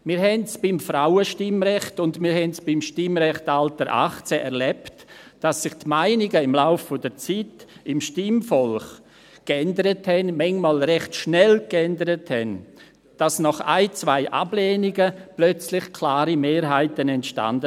– Wir haben es beim Frauenstimmrecht und beim Stimmrechtsalter 18 erlebt, dass sich die Meinungen des Stimmvolkes im Laufe der Zeit änderten, manchmal recht schnell, sodass nach ein, zwei Ablehnungen plötzlich klare Mehrheiten entstanden.